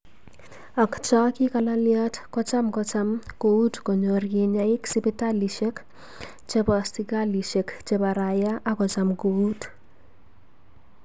Ak choo kigolalyat kocham kocham kout konyor kinyaa ik sipitalishek cheboo sikalishek chebo rayaa ak kocham kout.